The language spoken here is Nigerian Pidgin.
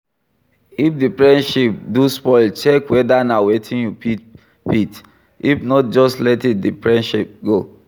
If di friendship do spoil check weda na wetin you fit fit, if not just let di friendship go